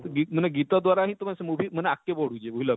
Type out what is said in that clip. ଗୀତ ମାନେ ଗୀତ ଦୁଆର ହିଁ ତମେ ସେ movie ଅଗକେ ବଢ଼ୁଛେ ବୁଝଲ